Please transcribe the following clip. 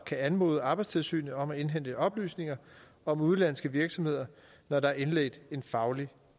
kan anmode arbejdstilsynet om at indhente oplysninger om udenlandske virksomheder når der er indledt en fagretlig